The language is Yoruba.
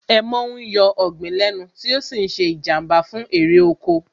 Èèmọ̀ ń yọ ọ̀gbìn lẹ́nu tí ó sì ń ṣe Ìjàmbá fún èrè oko